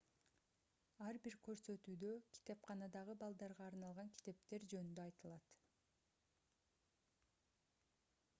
ар бир көрсөтүүдө китепканадагы балдарга арналган китептер жөнүндө айтылат